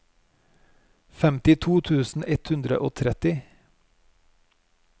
femtito tusen ett hundre og tretti